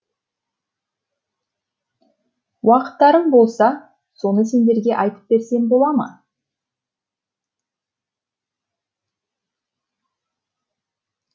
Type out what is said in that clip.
уақыттарың болса соны сендерге айтып берсем бола ма